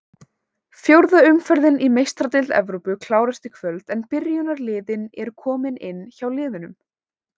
Fjórða umferðin í Meistaradeild Evrópu klárast í kvöld en byrjunarliðin eru komin inn hjá liðunum.